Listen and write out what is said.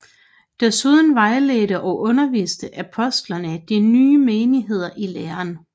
Desuden vejledte og underviste apostlene de nye menigheder i læren